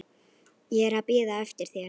Ég er að bíða eftir þér.